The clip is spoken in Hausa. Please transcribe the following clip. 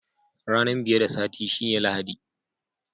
Ranan biye da Sati shine Lahadi.